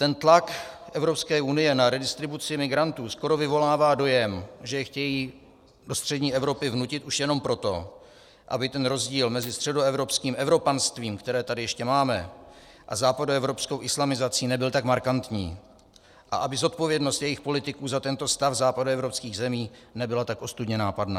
Ten tlak Evropské unie na redistribuci migrantů skoro vyvolává dojem, že je chtějí do střední Evropy vnutit už jenom proto, aby ten rozdíl mezi středoevropským evropanstvím, které tady ještě máme, a západoevropskou islamizací nebyl tak markantní a aby zodpovědnost jejich politiků za tento stav západoevropských zemí nebyla tak ostudně nápadná.